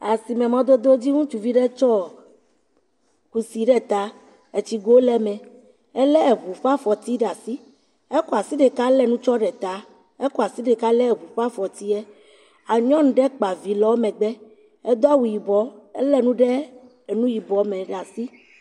Asime mɔdodo dzi, ŋutsuvi ɖe tsɔ kusi ɖe ta, tsigo le eme, elé ŋu ƒe afɔti ɖe asi. Ekɔ asi ɖeka le nu tsɔm le ta. Ekɔ asi ɖeka lé ŋu ƒe afɔtia. Nyɔnu ɖe kpa vi le wo megbe. Edo awu yibɔ, ele nu ɖe nu yibɔ me ɖe asi.